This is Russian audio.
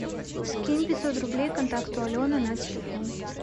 скинь пятьсот рублей контакту алена на телефон